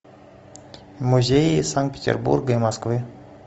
музеи санкт петербурга и москвы